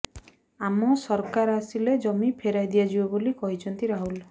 ଆମ ସରକାର ଆସିଲେ ଜମି ଫେରାଇ ଦିଆଯିବ ବୋଲି କହିଛନ୍ତି ରାହୁଲ